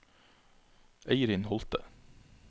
Eirin Holte